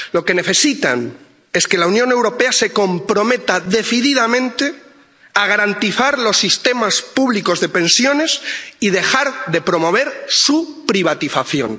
Lo que necesitan es que la Unión Europea se comprometa decididamente a garantizar los sistemas públicos de pensiones y dejar de promover su privatización.